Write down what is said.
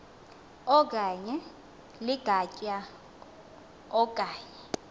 okanye ligatya okanye